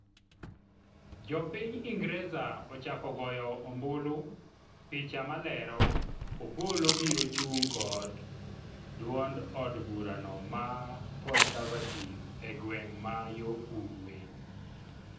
Jopiny Ingreza ochako goyo ombulu ,picha malero, Opollo biro chung' kod duond od burano ma conservative egweng' ma yo ugwe